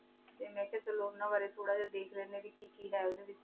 T ਮੈਂ ਕਿਹਾ ਕੀ ਉਨਾ ਬੇਰੀ ਥੋਰਾ ਥੋਰਾ ਵੇਖ ਲੇਨ੍ਦ੍ਯਨ ਆਂ ਕੀ ਕੀ ਕੀ ਹੈਂ ਵੇਚ